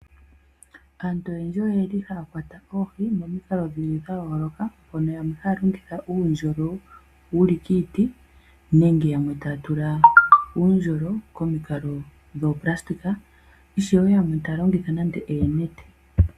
Aantu oyendji oyeli haya kwata oohi momikalo dhili dha yooloka mpono yamwe haya longitha uundjolo wuli kiiti nenge yamwe taya tula uundjolo komikalo dhoonayilona ishiwe yamwe taya longitha nande oonete.